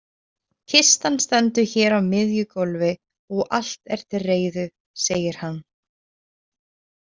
Kistan stendur hér á miðju gólfi og allt er til reiðu, segir hann.